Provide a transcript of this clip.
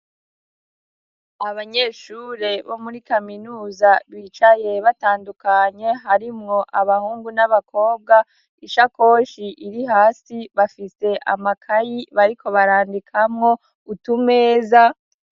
Abanyeshure bo muri kaminuza bicaye batandukanye, harimwo abahungu n'abakobwa ishakoshi iri hasi bafite amakaye bariko barandikamwo utumeza